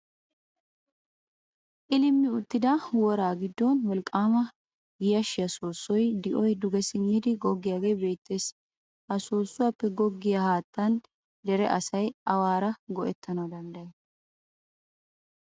Qilimmi uttida woraa giddon wolqqaama yashshiya soossoy di'oy duge simmidi goggiyogee beettees. Ha soossuwappe goggiya haattan dere asay waaruwa go'ettanawu danddayees.